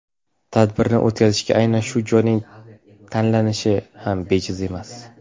Tadbirni o‘tkazishga aynan shu joyning tanlanishi ham bejiz emas.